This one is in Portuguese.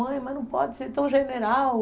Mãe, mas não pode ser tão general.